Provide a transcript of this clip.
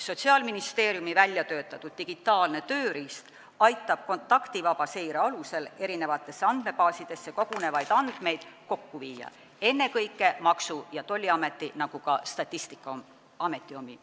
Sotsiaalministeeriumi väljatöötatud digitaalne tööriist aitab kontaktivaba seire alusel kokku viia eri andmebaasidesse kogunevaid andmeid, ennekõike Maksu- ja Tolliameti, aga ka Statistikaameti omi.